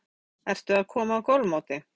Atli Már Gylfason: Ertu að koma af golfmóti?